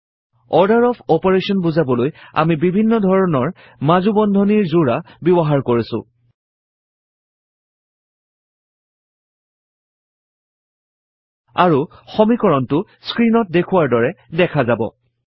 160160 order of operation বুজাবলৈ আমি বিভিন্ন ধৰণৰ মাজু বন্ধনীৰ যোৰা ব্যৱহাৰ কৰিছো আৰু সমীকৰণটো স্ক্ৰীণত দেখুওৱাৰ দৰে দেখা যাব